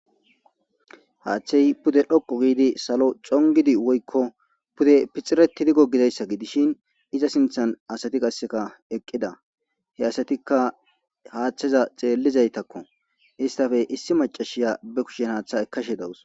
Haaththey pude dhokko giidi salo congidi woykko pude pixiretidigo gidayssa gidishin iza sinthan asati qasseka eqqida he asatikka haaththeza xeellizaytakko istafe issi macashiya be kushen haaththa ekashe dawus.